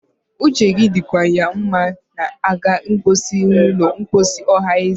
uche gị dịkwa ya ma ị na-aga mposi n'ụlọ mposi ọhanaeze